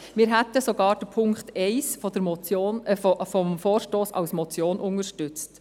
Wir hätten sogar Punkt 1 des Vorstosses als Motion unterstützt.